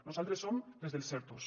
nosaltres som les dels ertos